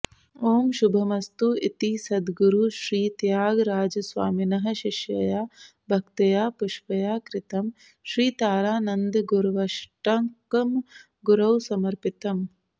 ॐ शुभमस्तु इति सद्गुरुश्रीत्यागराजस्वामिनः शिष्यया भक्तया पुष्पया कृतं श्रीतारानन्दगुर्वष्टकं गुरौ समर्पितम्